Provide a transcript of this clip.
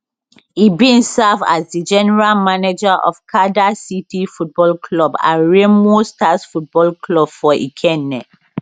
e bin serve as di general manager of kada city football club and remo stars football club for ikenne